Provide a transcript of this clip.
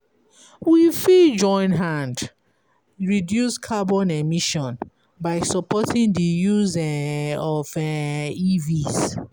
We fit join hand reduce carbon emission by supporting di use um of um EVs